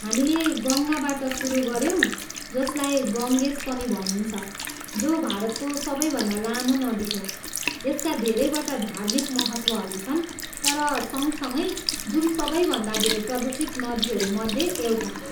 हामीले गङ्गाबाट सुरु गऱ्यौँ, जसलाई गङ्गेज पनि भनिन्छ, जो भारतको सबैभन्दा लामो नदी हो, यसका धेरैवटा धार्मिक महत्त्वहरू छन्, तर सँगसँगै, जुन सबैभन्दा धेर प्रदुषित नदीहरू मध्ये एउटा हो।